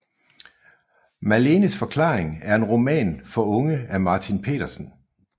Malenes forklaring er en roman for unge af Martin Petersen